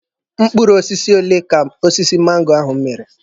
Mkpụrụ osisi ole ka osisi mango ahụ mịrị?